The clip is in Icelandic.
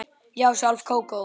Já, sjálf Kókó